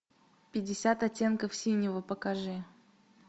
пятьдесят оттенков синего покажи